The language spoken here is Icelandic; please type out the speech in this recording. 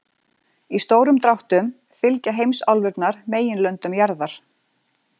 Í stórum dráttum fylgja heimsálfurnar meginlöndum jarðar.